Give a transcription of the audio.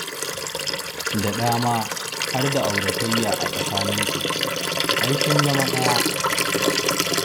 Daɗa ma har da auratayya a tsakaninsu: ai sun zama ɗaya.